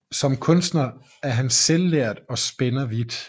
Som kunstner er han selvlært og spænder vidt